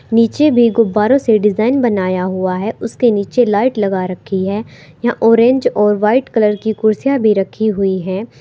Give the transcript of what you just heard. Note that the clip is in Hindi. नीचे भी गुब्बारों से डिजाइन बनाया हुआ है उसके नीचे लाइट लगा रखी है यहां ऑरेंज और वाइट कलर की कुर्सियां भी रखी हुई है।